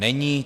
Není.